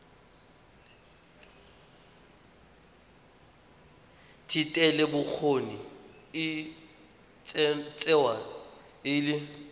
thetelelobokgoni e tsewa e le